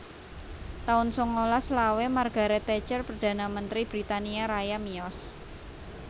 taun sangalas selawe Margaret Thatcher Perdana Mentri Britania Raya miyos